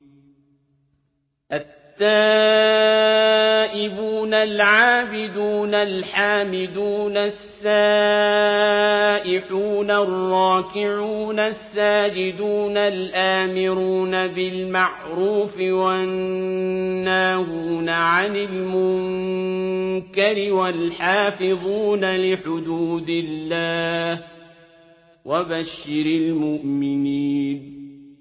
التَّائِبُونَ الْعَابِدُونَ الْحَامِدُونَ السَّائِحُونَ الرَّاكِعُونَ السَّاجِدُونَ الْآمِرُونَ بِالْمَعْرُوفِ وَالنَّاهُونَ عَنِ الْمُنكَرِ وَالْحَافِظُونَ لِحُدُودِ اللَّهِ ۗ وَبَشِّرِ الْمُؤْمِنِينَ